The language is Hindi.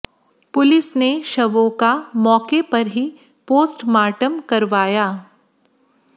पुलिस ने शवों का मौके पर ही पोस्टमार्टम करवाया